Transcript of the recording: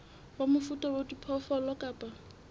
wa mofuta wa diphoofolo kapa